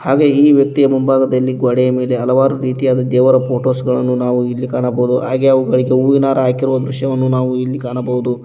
ಹಾಗೆ ಈ ವ್ಯಕ್ತಿಯ ಮುಂಭಾಗದಲ್ಲಿ ಗೋಡೆಯ ಹಲವಾರು ರೀತಿಯಾದ ದೇವರ ಫೋಟೋಸ್ ಗಳನ್ನು ನಾವು ಇಲ್ಲಿ ಕಾಣಬಹುದು ಹಾಗೆ ಅವುಗಳಿಗೆ ಹೂವಿನ ಹಾರ ಹಾಕಿರೊ ದೃಶ್ಯವನ್ನು ನಾವು ಇಲ್ಲಿ ಕಾಣಬಹುದು.